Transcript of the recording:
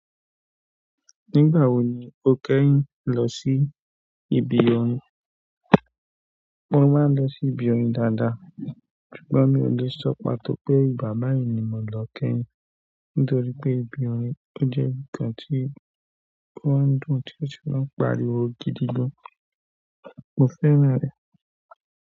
Nígbà wo ni o kẹ́yìn lọ sí ibi orin? Mo máa ń lọ sí ibi orin dáadáa, ṣùgbọ́n mi ò lè sọ́ pàtó pé ìgbà báyìí ni mo lọ kẹ́yìn, nítorí pé ibi orin ò jẹ́ nǹkan tí o ma ń dùn, tí wọ́n de tun pariwo gidi gan. Mo fẹ́ran rẹ̀.